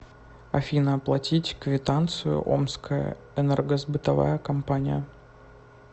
афина оплатить квитанцию омская энергосбытовая компания